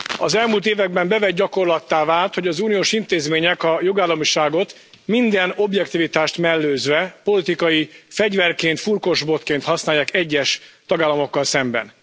Az elmúlt években bevett gyakorlattá vált, hogy az uniós intézmények a jogállamiságot minden objektivitást mellőzve politikai fegyverként, furkósbotként használják egyes tagállamokkal szemben.